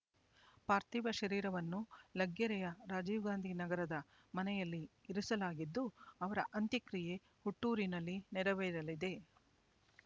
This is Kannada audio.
ಪಾರ್ಥೀವ ಶರೀರವನ್ನು ಲಗ್ಗೆರೆಯ ರಾಜೀವ್ ಗಾಂಧಿ ನಗರದ ಮನೆಯಲ್ಲಿ ಇರಿಸಲಾಗಿದ್ದು ಅವರ ಅಂತ್ಯಕ್ರಿಯೆ ಹುಟ್ಟೂರಿನಲ್ಲಿ ನೆರವೇರಲಿದೆ